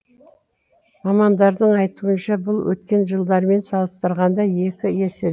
мамандардың айтуынша бұл өткен жылдармен салыстырғанда екі есе